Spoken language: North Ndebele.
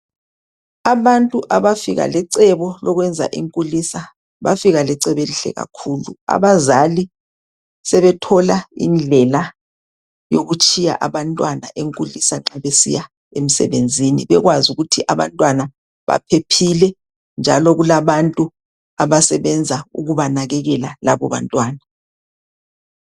Abantu abafika lecebo lokwenza iNkulisa bafika lecebo elihle kakhulu. Abazali sebethola indlela yokutshiya abantwana eNkulisa nxa besiya emsebenzini bekwazi ukuthi abantwana baphephile njalo kulabantu abasebenza ukubanakekela laba bantwana.